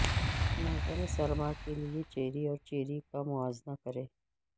موسم سرما کے لئے چیری اور چیری کا موازنہ کریں